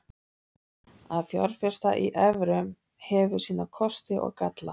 Að fjárfesta í evrum hefur sína kosti og galla.